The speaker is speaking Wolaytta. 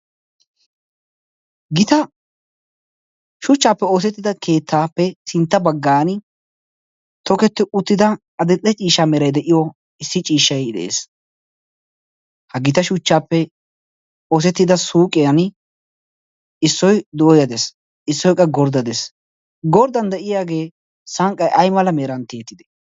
Gita shuchchappe oosetida keettappe sintta baggan tokketi uttida issi ciishshay de'ees. ha gita shuchchappe oosetida suyqqiyan issoy dooyya des. issoy qa gorday des. gordda de'iyaage sanqqay aymeran tiyettidee?